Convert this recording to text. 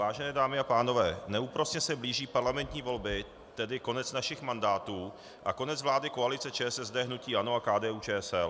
Vážené dámy a pánové, neúprosně se blíží parlamentní volby, tedy konec našich mandátů a konec vlády koalice ČSSD, hnutí ANO a KDU-ČSL.